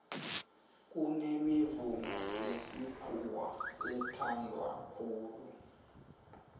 kunemivumo yesikhuwa ethanwa khulu